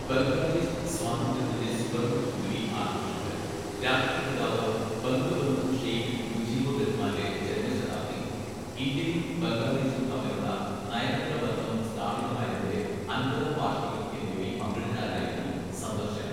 ബംഗ്ലാദേശ് സ്വാതന്ത്ര്യത്തിന്റെ സുവർണ്ണ ജൂബിലി ആഘോഷങ്ങൾ, രാഷ്ട്രപിതാവ് ബംഗബന്ധു ഷെയ്ഖ് മുജിബുർ റഹ്മാന്റെ ജന്മശതാബ്ദി, ഇന്ത്യയും ബംഗ്ലാദേശും തമ്മിലുള്ള നയതന്ത്ര ബന്ധം സ്ഥാപിതമായതിന്റെ അൻപതാം വാർഷികം എന്നിവയിൽ പങ്കെടുക്കാനായിരുന്നു സന്ദർശനം.